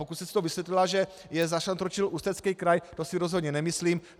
Pokud jste si to vysvětlila, že je zašantročil Ústecký kraj, to si rozhodně nemyslím.